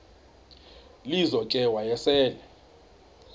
lizo ke wayesel